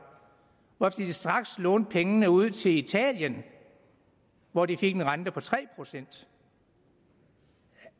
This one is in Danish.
hvorefter de straks lånte pengene ud til italien hvor de fik en rente på tre procent